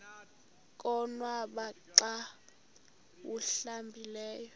konwaba xa awuhlambileyo